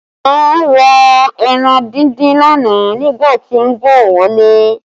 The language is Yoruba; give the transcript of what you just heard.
Aina ra ẹran díndín lánàá nígbà tí ó ń bọ̀ wálé